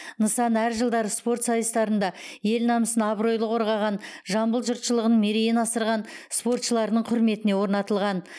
нысан әр жылдары спорт сайыстарында ел намысын абыройлы қорғаған жамбыл жұртшылығының мерейін асырған спортшылардың құрметіне орнатылған